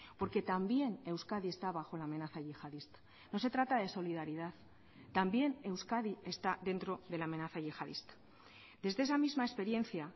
porque también euskadi está bajo la amenaza yihadista no se trata de solidaridad también euskadi está dentro de la amenaza yihadista desde esa misma experiencia